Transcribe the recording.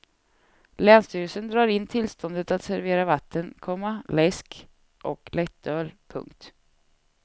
Länsstyrelsen drar in tillståndet att servera vatten, komma läsk och lättöl. punkt